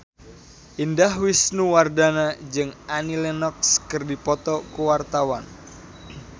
Indah Wisnuwardana jeung Annie Lenox keur dipoto ku wartawan